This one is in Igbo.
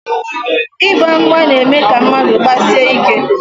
Ịgba mgba na-eme ka mmadụ gbasie ike.